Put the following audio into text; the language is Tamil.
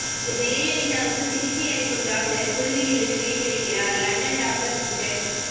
ஜெயலலிதாவுக்கு சிகிச்சையளிக்கும் டாக்டர் குழுவிலிருந்து விடை பெறுகிறார் லண்டன் டாக்டர் ரிச்சர்ட்